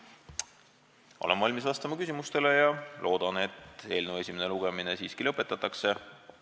Olen valmis vastama küsimustele ja loodan, et eelnõu esimene lugemine siiski lõpetatakse.